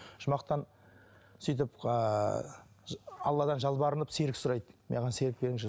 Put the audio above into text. жұмақтан сөйтіп ыыы алладан жалбарынып серік сұрайды маған серік беріңізші